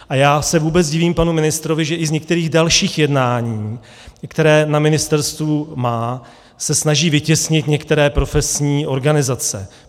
A já se vůbec divím panu ministrovi, že i z některých dalších jednání, která na ministerstvu má, se snaží vytěsnit některé profesní organizace.